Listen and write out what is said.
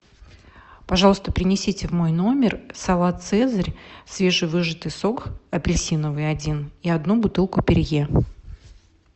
пожалуйста принесите в мой номер салат цезарь свежевыжатый сок апельсиновый один и одну бутылку перье